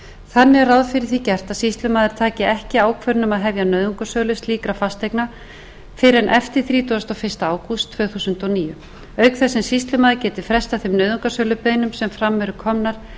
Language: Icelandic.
þannig er ráð fyrir því gert að sýslumaður taki ekki ákvörðun um að hefja nauðungarsölu slíkra fasteigna fyrr en eftir þrítugasta og fyrsta ágúst tvö þúsund og níu auk þess sem sýslumaður geti frestað þeim nauðungarsölubeiðnum sem fram eru komnar